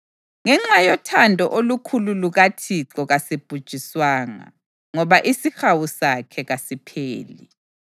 Ngenxa yothando olukhulu lukaThixo kasibhujiswanga, ngoba isihawu sakhe kasipheli.